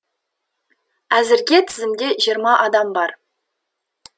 әзірге тізімде жиырма адам бар